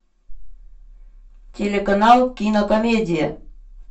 телеканал кинокомедия